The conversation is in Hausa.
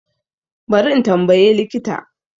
Bari in tambaye likita